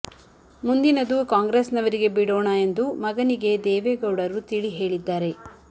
ಮುಂದಿನದು ಕಾಂಗ್ರೆಸ್ ನವರಿಗೆ ಬಿಡೋಣ ಎಂದು ಮಗನಿಗೆ ದೇವೇಗೌಡರು ತಿಳಿ ಹೇಳಿದ್ದಾರೆ